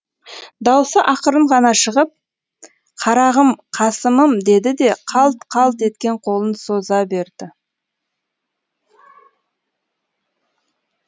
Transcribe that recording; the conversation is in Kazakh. даусы ақырын ғана шығып қарағым қасымым деді де қалт қалт еткен қолын соза берді